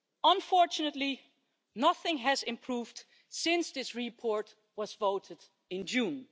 Unfortunately, nothing has improved since this report was voted on in June.